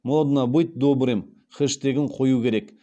моднобытьдобрым хештегін қою керек